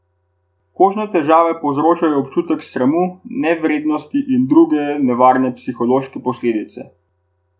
Kožne težave povzročajo občutek sramu, nevrednosti in druge nevarne psihološke posledice.